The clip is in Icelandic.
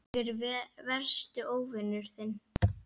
Ég er versti óvinur þinn.